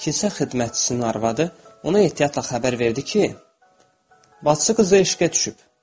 Keşə xidmətçisinin arvadı ona ehtiyatla xəbər verdi ki, bacısı qızı işqə düşüb.